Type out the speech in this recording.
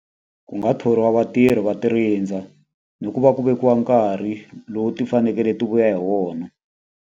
Ku nga thoriwa vatirhi va ti rindza, ni ku va ku vekiwa nkarhi lowu ti fanekele ti vuya hi wona.